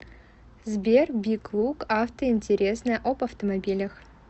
сбер биг лук авто интересное об автомобилях